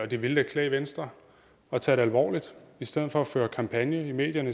det vil da klæde venstre at tage det alvorligt og i stedet for at føre kampagne i medierne